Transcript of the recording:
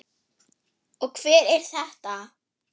Og hver er þetta?